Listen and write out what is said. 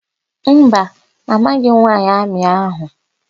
Mba, amaghị m nwaanyị amị áhụ̀.